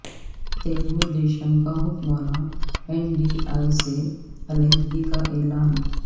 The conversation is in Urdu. تلگودیشم کا حکمراں این ڈی اے سے علیحدگی کا اعلان